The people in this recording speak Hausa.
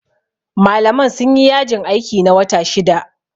Malaman sun yi yajin aiki, na wata shida.